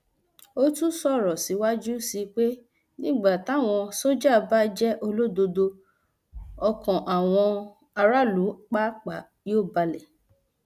ó tún sọrọ síwájú sí i pé nígbà táwọn sójà bá jẹ olódodo ọkàn àwọn aráàlú pàápàá yóò balẹ